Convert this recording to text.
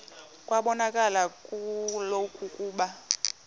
kwabonakala kaloku ukuba